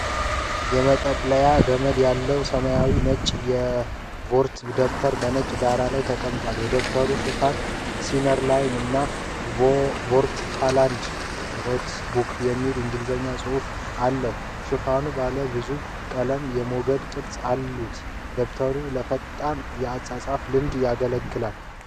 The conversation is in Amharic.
የመጠቅለያ ገመድ ያለው ሰማያዊና ነጭ የሾርትሃንድ ደብተር በነጭ ዳራ ላይ ተቀምጧል። የደብተሩ ሽፋን 'ሲነርላይን' እና 'ሾርትሃንድ ኖትቡክ' የሚል የእንግሊዝኛ ጽሑፍ አለው። ሽፋኑ ባለ ብዙ ቀለም የሞገድ ቅርጾች አሉት። ደብተሩ ለፈጣን የአጻጻፍ ልምምድ ያገለግላል።